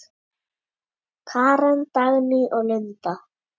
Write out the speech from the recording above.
Karen, Dagný og Linda.